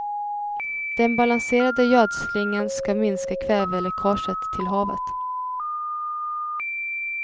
Den balanserade gödslingen ska minska kväveläckaget till havet.